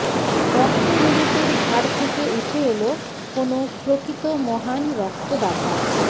রক্ত লোলুপের ঝাড় থেকে উঠে এলো কোনো প্রকৃত মহান রক্তদাতা